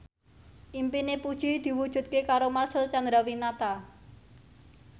impine Puji diwujudke karo Marcel Chandrawinata